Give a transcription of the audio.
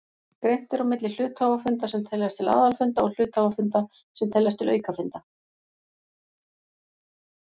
Greint er á milli hluthafafunda sem teljast til aðalfunda og hluthafafunda sem teljast til aukafunda.